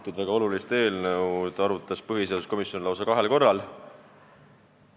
Seda väga olulist eelnõu arutas põhiseaduskomisjon lausa kahel korral.